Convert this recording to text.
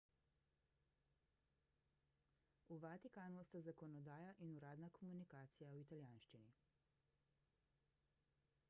v vatikanu sta zakonodaja in uradna komunikacija v italijanščini